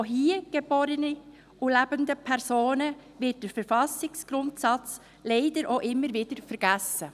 Auch von hier geborenen und lebenden Personen wird der Verfassungsgrundsatz leider auch immer vergessen.